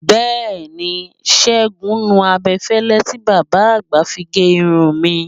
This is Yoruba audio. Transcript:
Bẹẹni Ṣégun nu abẹ́fẹ́lẹ́ tí bàbá àgbà fi gé irun mi.